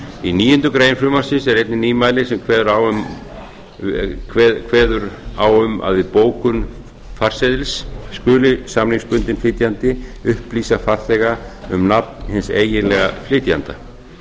í níundu grein frumvarpsins er einnig nýmæli sem kveður á um að við bókun farseðils skuli samningsbundinn flytjandi upplýsa farþega um nafn hins eiginlega flytjanda